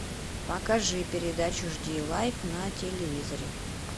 покажи передачу жди лайф на телевизоре